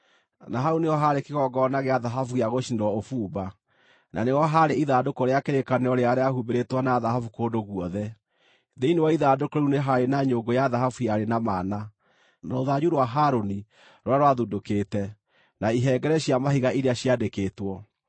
na hau nĩho haarĩ kĩgongona gĩa thahabu gĩa gũcinĩrwo ũbumba, na nĩho haarĩ ithandũkũ rĩa kĩrĩkanĩro rĩrĩa rĩahumbĩrĩtwo na thahabu kũndũ guothe. Thĩinĩ wa ithandũkũ rĩu nĩ haarĩ na nyũngũ ya thahabu yarĩ na mana, na rũthanju rwa Harũni rũrĩa rwathundũkĩte, na ihengere cia mahiga iria ciandĩkĩtwo.